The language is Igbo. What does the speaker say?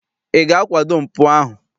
Ị ga-akwado mpụ ahụ?